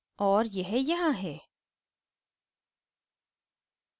और यह यहाँ है